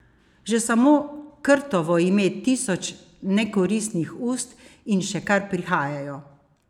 Že samo Krtovo ima tisoč nekoristnih ust in še kar prihajajo.